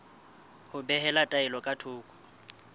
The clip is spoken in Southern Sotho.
ho behela taelo ka thoko